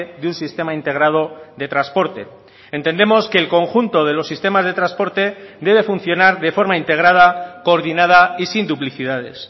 de un sistema integrado de transporte entendemos que el conjunto de los sistemas de transporte debe funcionar de forma integrada coordinada y sin duplicidades